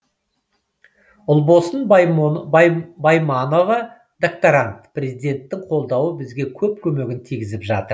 ұлбосын байманова докторант президенттің қолдауы бізге көп көмегін тигізіп жатыр